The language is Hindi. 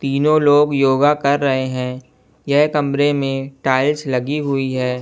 तीनों लोग योगा कर रहे हैं यह कमरे में टाइल्स लगी हुई है।